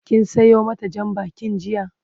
kin Sayo mata Jan bakin jiya?